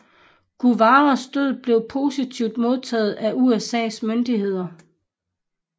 Guevaras død blev positivt modtaget af USAs myndigheder